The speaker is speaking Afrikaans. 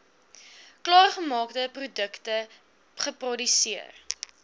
klaargemaakte produkte geproduseer